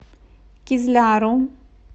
кизляру